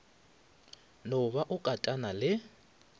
no ba o katana le